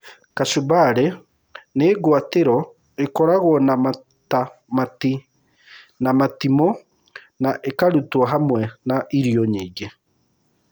Kachumbari, nĩ ngwatĩro ĩkoragwo na matamati na matimũ, na ĩkarutwo hamwe na irio nyingĩ.